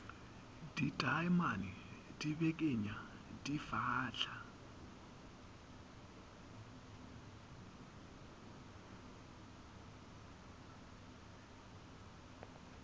ditaemane di bekenya di fahla